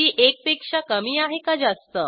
ती एक पेक्षा कमी आहे का जास्त